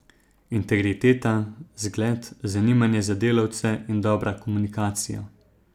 Integriteta, zgled, zanimanje za delavce in dobra komunikacija.